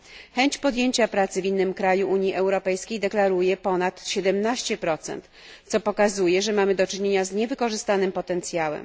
Chęć podjęcia pracy w innym kraju Unii Europejskiej deklaruje ponad 17, co pokazuje, że mamy do czynienia z niewykorzystanym potencjałem.